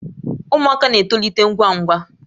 Ụmụaka na-etolite ngwa ngwa